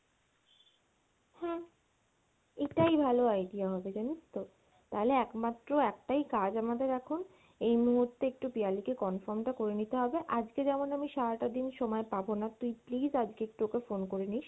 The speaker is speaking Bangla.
হ্যাঁ এটাই ভালো idea হবে জানিস তো, তাহলে একমাত্র একটাই কাজ আমাদের এখন এই মুহূর্তে একটু পিয়ালি কে confirm টা করে নিতে হবে, আজকে যেমন আমি সারাটা দিন সময় পাবো না তুই please আজকে একটু ওকে phone করে নিস,